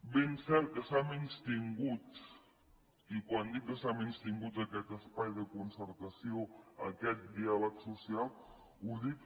ben cert que s’ha menystingut i quan dic que s’ha menystingut aquest espai de concertació aquest diàleg social ho dic